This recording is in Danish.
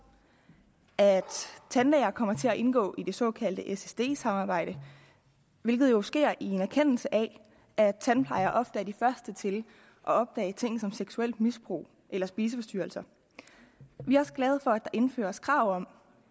og at tandlæger kommer til at indgå i det såkaldte ssd samarbejde hvilket jo sker i en erkendelse af at tandplejere ofte er de første til at opdage ting som seksuelt misbrug eller spiseforstyrrelser vi er også glade for at der indføres krav om